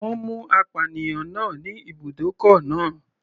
Wọ́n mú apànìyàn náà ní ibùdókọ̀ náà.